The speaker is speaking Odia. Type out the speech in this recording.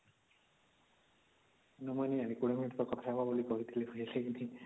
୨୦ minute ତ କଥା ହବା ବୋଲି କହିଥିଲେ